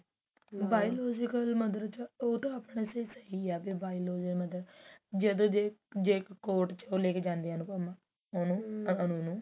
biological mother ਚ ਉਹ ਤਾਂ ਆਪਣੇ ਤੇ ਸਹੀ ਆ biological mother ਜਦੋਂ ਜੇ court ਚ ਉਹ ਲੈਕੇ ਜਾਂਦੀ ਆ ਅਨੁਪਮਾ ਉਹਨੂੰ ਅਨੂ ਨੂੰ